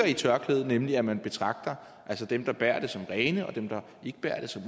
i tørklædet nemlig at man betragter dem der bærer det som rene og dem der ikke bærer det som